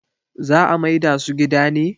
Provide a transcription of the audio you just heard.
za a maida su gida ne?